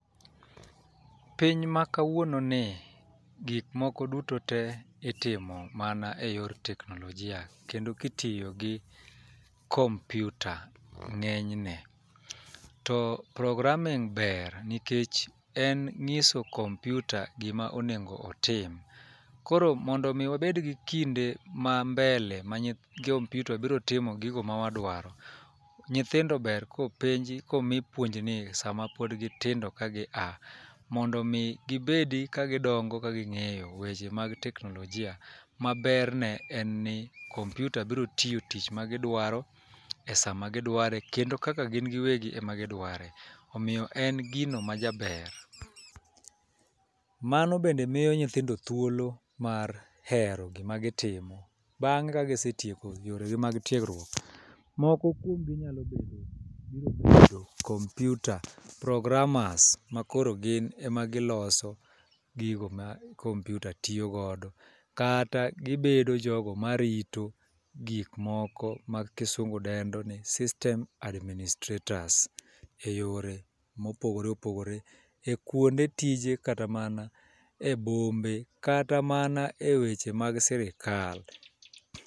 Piny ma kawuono ni, gik moko duto te itimo mana e yor teknolojia. Kendo kitiyo gi kompyuta, ng'eny ne. To programming ber, nikech en ng'iso kompyuta gima onego otim. Koro mondo mi wabed gi kinde ma mbele ma kompyuta biro timo gigo ma wadwaro. Nyithindo ber kopenji komi puonj ni sama pod gitindo ka gi a. Mondo mi gibedi ka gidongo ka ging'eyo weche mag teknolojia ma berne en ni kompyuta biri tiyo tich ma gidwaro e sama gidware kendo kaka gin gi wegi ema gidware. Omiyo en gino ma jaber. Mano bende miyo nyithindo thuolo mar hero gima gitimo, bang'e ka gisetieko yore gi mag tiegruok. Moko kuom gi nyalo bedo biro bedo kompyuta programmers ma koro gin e ma giloso gigo ma kompyuta tiyo godo. Kata gibedo jogo ma rito gik moko mag kisungu dendo ni system adminstrators. E yore mopogore opogore, e kuonde tije kata mana e bombe, kata mana e weche mag sirikal.